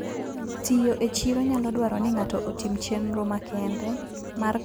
Tiyo e chiro nyalo dwaro ni ng'ato otim chenro makende mar kano kendo kano mor kich.